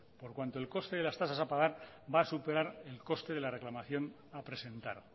por cuanto el coste de las tasas a pagar va a superar el coste de la reclamación a presentar